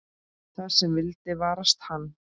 Það sem vildi varast hann.